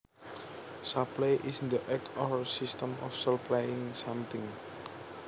Supply is the act or system of supplying something